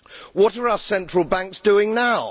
What are our central banks doing now?